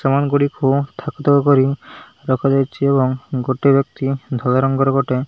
ସାମାନ ଗୁଡିକୁ ଥାକ ଥାକ କରି ରଖାଯାଇଛି ଏବଂ ଗୋଟେ ବ୍ୟକ୍ତି ଧଳା ରଙ୍ଗର ଗୋଟେ --